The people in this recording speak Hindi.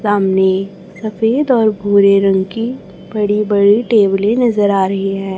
सामने सफेद और भूरे रंग की बड़ी बड़ी टेबले नजर आ रही है।